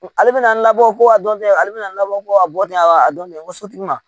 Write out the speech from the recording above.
Ale bɛna labɔ ko a dɔn ale bɛna labɔ ko a bɔ ten a dɔn tɛ ko sotigi ma